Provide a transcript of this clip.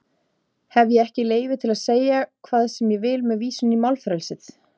Hef ég ekki leyfi til að segja hvað sem ég vil með vísun í málfrelsið?